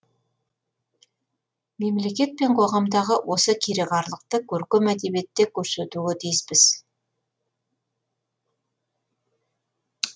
мемлекет пен қоғамдағы осы кереғарлықты көркем әдебиетте көрсетуге тиіспіз